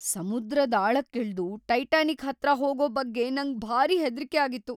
ಸಮುದ್ರದ್‌ ಆಳಕ್ಕಿಳ್ದು ಟೈಟಾನಿಕ್‌ ಹತ್ರ ಹೋಗೋ ಬಗ್ಗೆ ನಂಗ್‌ ಭಾರಿ ಹೆದ್ರಿಕೆ ಆಗಿತ್ತು.